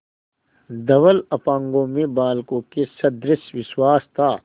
धवल अपांगों में बालकों के सदृश विश्वास था